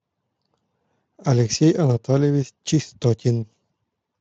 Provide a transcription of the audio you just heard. алексей анатольевич чистотин